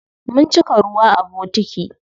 Mun cika ruwa a bokiti.